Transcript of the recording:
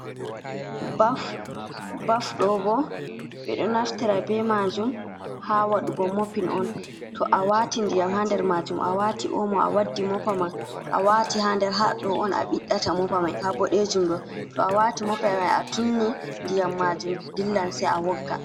Ɓafɗo Ɓo Ɓe Ɗo Naftira Ɓe Majum Ha Waɗugo Mopin on To Awati Ɗiyam Ha Nɗer Majum Awata Omo A Waɗɗi Mopama A Wati Ha Nɗer Haɗɗo on a Ɓiɗɗata Mopamai Ha ɓoɗejum Ɗo To a Wati Mopa Mai a Tunni Nɗiyam Majum Ɗillam Sai A Wogga.